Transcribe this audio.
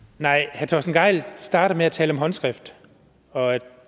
herre torsten gejl starter med at tale om håndskrift og at